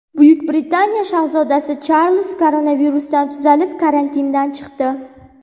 Buyuk Britaniya shahzodasi Charlz koronavirusdan tuzalib, karantindan chiqdi.